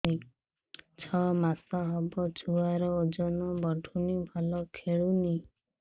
ଛଅ ମାସ ହବ ଛୁଆର ଓଜନ ବଢୁନି ଭଲ ଖେଳୁନି